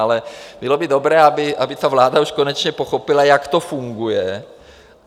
Ale bylo by dobré, aby ta vláda už konečně pochopila, jak to funguje.